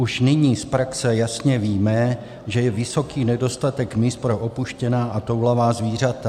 Už nyní z praxe jasně víme, že je vysoký nedostatek míst pro opuštěná a toulavá zvířata.